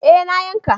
Eh na yanka